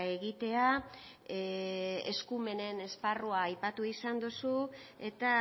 egitea eskumenen esparrua aipatu izan duzu eta